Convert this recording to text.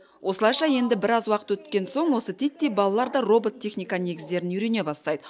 осылайша енді біраз уақыт өткен соң осы титтей балалар да робот техника негіздерін үйрене бастайды